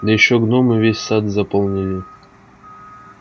да ещё гномы весь сад заполонили